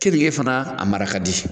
Keninge fana a marakadi.